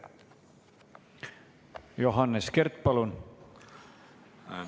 Johannes Kert, palun!